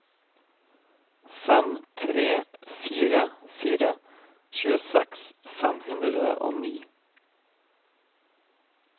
fem tre fire fire tjueseks fem hundre og ni